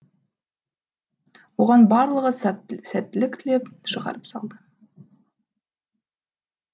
оған барлығы сәттілік тілеп шығарып салды